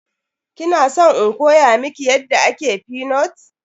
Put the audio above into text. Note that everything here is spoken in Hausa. Kina san in koya miki yadda ake fenut?